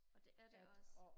og det er det også